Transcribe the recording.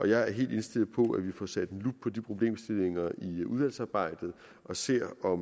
jeg er helt indstillet på at vi får sat lup på de problemstillinger i udvalgsarbejdet og ser på